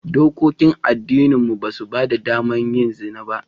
Dokokin addininmu ba su ba da damar yin zina ba